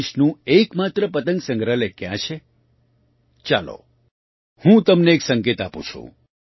દેશનું એક માત્ર પતંગ સંગ્રહાલય ક્યાં છે ચાલો હું તમને એક સંકેત આપું છું